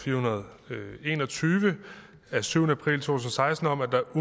fire hundrede og en og tyve af syvende april to tusind og seksten om at der